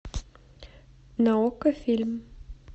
на окко фильм